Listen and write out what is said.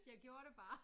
Jeg gjorde det bare